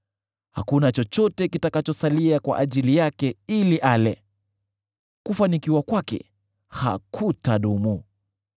Hakuna chochote kitakachosalia kwa ajili yake ili ale; kufanikiwa kwake hakutadumu.